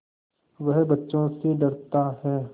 वह बच्चों से डरता है